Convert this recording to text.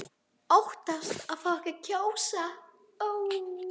Óttast að fá ekki að kjósa